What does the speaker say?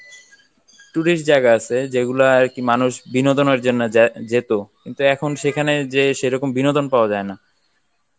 tourist জায়গা আছে যেগুলা আর কি মানুষ বিনোদনের জন্য যায়~ যেতো কিন্তু এখন সেখানে যেয়ে সেরকম বিনোদন পাওয়া যায় না